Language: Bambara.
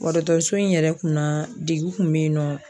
Dɔgɔtɔrɔso in yɛrɛ kun na degun kun bɛ yen nɔ.